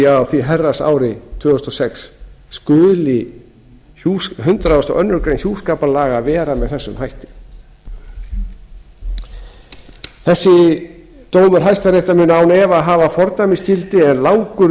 á því herrans ári tvö þúsund og fimm skuli hundrað og aðra grein hjúskaparlaga vera með þessum hætti þessi dómur hæstaréttar mun án efa hafa fordæmisgildi en langur